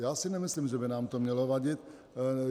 Já si nemyslím, že by nám to mělo vadit.